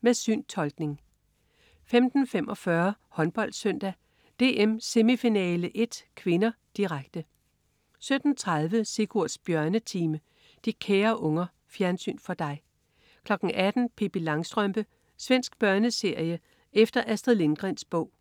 Med syntolkning 15.45 HåndboldSøndag: DM semifinale I (k), direkte 17.30 Sigurds Bjørnetime. De kære unger. Fjernsyn for dig 18.00 Pippi Langstrømpe. Svensk børneserie efter Astrid Lindgrens bog